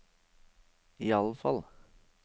iallfall